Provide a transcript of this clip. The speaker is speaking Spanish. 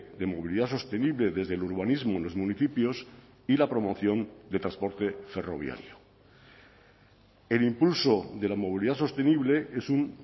de movilidad sostenible desde el urbanismo en los municipios y la promoción de transporte ferroviario el impulso de la movilidad sostenible es un